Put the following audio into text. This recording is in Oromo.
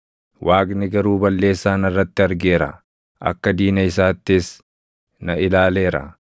Waaqni garuu balleessaa narratti argeera; akka diina isaattis na ilaaleera.